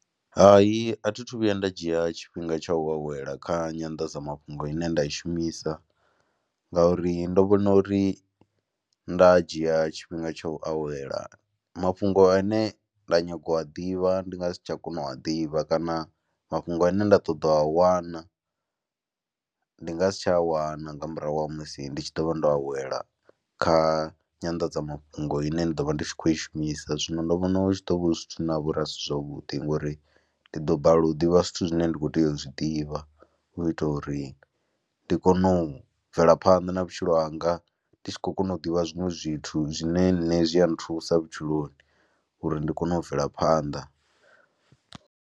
Hai, a thi thu vhuya nda dzhia tshifhinga tsha u awela kha nyandadzamafhungo ine nda i shumisa ngauri ndo vhona uri nda dzhia tshifhinga tsha u awela mafhungo ane nda nyaga u a ḓivha ndi nga si tsha kona u a ḓivha kana mafhungo ane nda ṱoḓa u a wana ndi nga si tsha wana nga murahu ha musi ndi tshi ḓo vha ndo awela kha nyandadzamafhungo ine ni ḓo vha ndi tshi khou i shumisa. Zwino ndi vhona hu tshi ḓo vha hu zwithu na ha vha uri a si zwavhuḓi ngori ndi ḓo balelwa u ḓivha zwithu zwine nda kho tea u zwi ḓivha u itela uri ndi kone u bvela phanḓa na vhutshilo hanga, ndi tshi khou kona u ḓivha zwiṅwe zwithu zwine nṋe zwi a nthusa vhutshiloni uri ndi kone u bvela phanḓa.